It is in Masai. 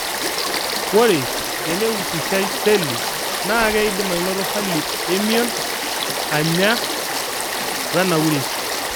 Ore teneusishai seli, naa keidim anoto hali emion, anyaa, wenauri.